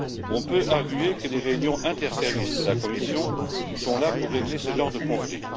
On peut arguer que les réunions interservices de la Commission sont là pour régler ce genre de conflit